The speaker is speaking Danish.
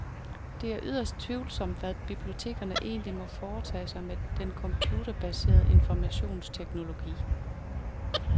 Det er yderst tvivlsomt, hvad bibliotekerne egentlig må foretage sig med den computerbaserede informationsteknologi.